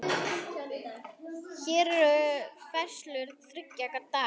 Hér eru færslur þriggja daga.